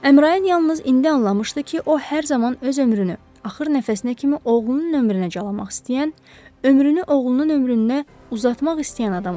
Əmrayin yalnız indi anlamışdı ki, o hər zaman öz ömrünü axır nəfəsinə kimi oğlunun ömrünə calamaq istəyən, ömrünü oğlunun ömrünə uzatmaq istəyən adam olub.